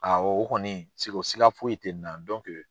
Awɔ o kɔni siko sika foyi te na